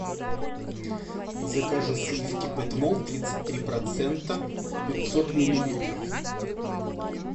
закажи сливки петмол тридцать три процента пятьсот миллилитров